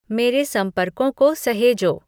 मेरे संपर्कों को सहेजो